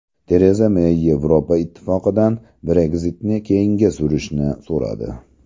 Tereza Mey Yevropa Ittifoqidan Brexit’ni keyinga surishni so‘radi.